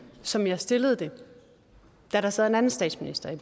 som jeg stillede det da der sad en anden statsminister i